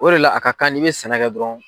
O de la a ka kan n'i bɛ sɛnɛ kɛ dɔrɔnw.